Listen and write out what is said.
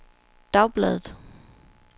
dagbladet